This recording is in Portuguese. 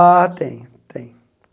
Ah, tem, tem.